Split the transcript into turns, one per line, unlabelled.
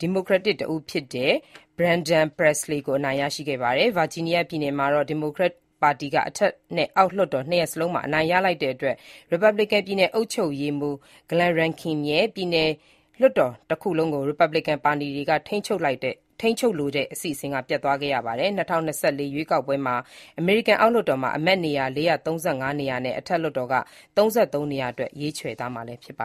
ဒီမိုကရက် တဦးဖြစ်တဲ့ Brandon Presley ကို အနိုင်ရခဲ့ပါတယ်။ Virginia ပြည်နယ်မှာတော့ ဒီမိုကရက်ပါတီက အထက်နဲ့ အောက်လွှတ်တော် နှစ်ရပ်စလုံးမှာ အနိုင်ရလိုက်တဲ့အတွက် ရီပတ်ဘလီကန် ပြည်နယ်အုပ်ချုပ်ရေးမှူး Glen Youngkin ရဲ့ ပြည်နယ်လွှတ်တော်တခုလုံးကို ရီပတ်ဘလီကန်ပါတီက ထိန်းချုပ်လိုတဲ့အစီအစဉ် ပျက်သွားခဲ့ပါတယ်။ ၂၀၂၄ ရွေးကောက်ပွဲမှာ အမေရိကန် အောက်လွှတ်တော်က အမတ်နေရာ ၄၃၅ နေရာနဲ့ အထက်လွှတ်တော်က ၃၃ နေရာအတွက် ရွေးချယ်သွားမှာဖြစ်ပါ